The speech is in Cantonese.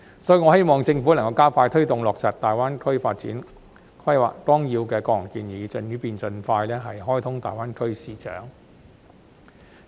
因此，我希望政府能夠加快推動落實《粵港澳大灣區發展規劃綱要》的各項建議，以便盡快開通大灣區市場。